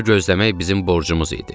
Onu gözləmək bizim borcumuz idi.